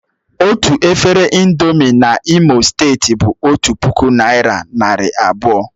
Otu efere ị̀ndómị́ N'Imo steeti bụ otu puku naị́ra narị abụọ